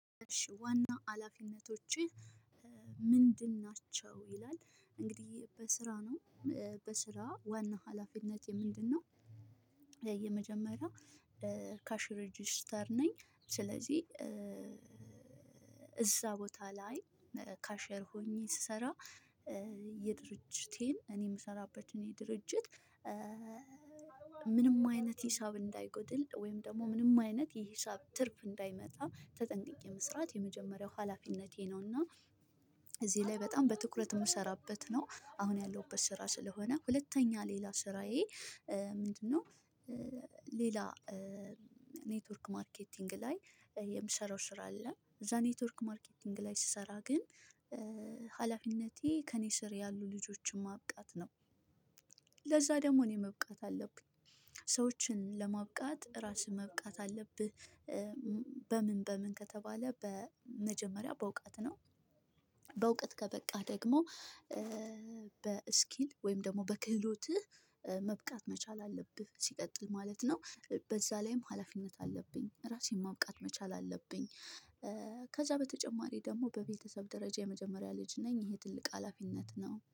ዋናው ሀላፊነቶችህ ምንድን ናቸው ይላል እንግዲህ በስራ ነው በስራ ዋና ሀላፊነቴ ምንድነው? የመጀመሪያ ካሽ ሬጅስተር ነኝ። ስለዚህ እዛ ቦታ ላይ ካሸር ሆኜ ስሰራ የድርጅቴን እኔ የምሰራበት እኔ ድርጅት። ምንም አይነት ሂሳብ እንዳይጎድል ወይም ደግሞ ምንም አይነት የሂሳብ ትርፍ እንዳይመጣ ተጠንቅቄ መስራት የመጀመሪያው ሀላፊነቴ ነው። እና እዚህ ላይ በጣም በትኩረት የምሰራበት ነው አሁን ያለሁበት ስራ ስለሆነ ሁለተኛ ሌላ ስራዬ። ምንድነው? ሌላ ኔትወርክ ማርኬቲንግ ላይ የምሰራው ስራ አለ። እዛ ኔትወርክ ማርኬቲንግ ላይ ስሰራ ግን። ሀላፊነቴ ከእኔ ስር ያሉ ልጆችን ማብቃት ነው። ለዛ ደግሞ እኔ መብቃት አለብኝ። ሰዎችን ለማብቃት ራስህ መብቃት አለብህ። በምን በምን ከተባለ በመጀመሪያ በእውቀት ነው። በእውቀት ከበቃህ ደግሞ በስኪል ወይም ደግሞ በክህሎትህ መብቃት መቻል አለብህ። ሲቀጥል ማለት ነው። በዛ ላይም ሀላፊነት አለብኝ ራሴን ማብቃት መቻል አለብኝ። ከዛ በተጨማሪ ደግሞ በቤተሰብ ደረጃ የመጀመሪያ ልጅ ነኝ ይሄ ትልቅ ሀላፊነት ነው